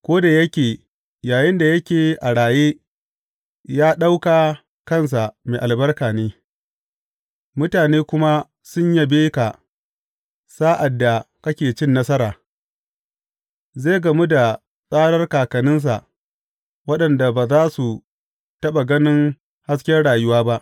Ko da yake yayinda yake a raye ya ɗauka kansa mai albarka ne, mutane kuma sun yabe ka sa’ad da kake cin nasara, zai gamu da tsarar kakanninsa, waɗanda ba za su taɓa ganin hasken rayuwa ba.